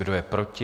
Kdo je proti?